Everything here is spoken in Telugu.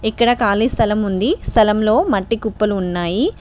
ఇక్కడ కాలి స్థలం ఉంది. స్థలంలో మట్టి కుప్పలు ఉన్నాయి.